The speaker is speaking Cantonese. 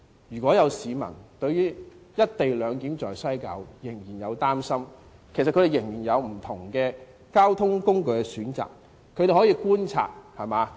如果有市民對"一地兩檢"在西九龍站仍然有擔心，他們可以選擇其他交通工具，他們可以觀察。